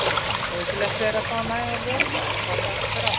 Nauðsynlegt er að fá nægan vökva en forðast ber áfengi.